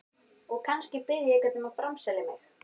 Og kannski bið ég einhvern um að framselja mig.